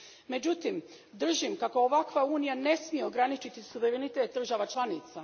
Međutim, držim kako ovakva unija ne smije ograničiti suverenitet država članica.